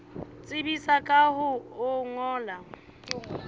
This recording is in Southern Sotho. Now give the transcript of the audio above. tsebisa ka ho o ngolla